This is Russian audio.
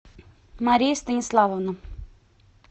мария станиславовна